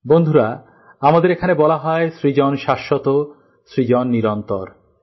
বন্ধুরা আমাদের এখানে বলা হয় সৃজন শাশ্বত সৃজন নিরন্তর